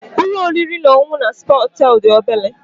Ụlọ oriri na ọṅụṅụ na spa hotel dị obere